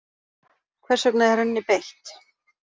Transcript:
Hvers vegna er henni beitt?